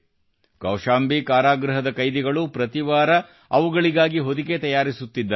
ಕೌಶಂಬಿ ಕಾರಾಗೃಹದ ಕೈದಿಗಳು ಪ್ರತಿ ವಾರ ಅವುಗಳಿಗಾಗಿ ಹೊದಿಕೆ ತಯಾರಿಸುತ್ತಿದ್ದಾರೆ